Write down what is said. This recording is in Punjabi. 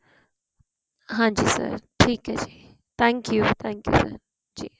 ਹਾਂਜੀ sir ਠੀਕ ਏ ਜੀ thank you thank you sir Zee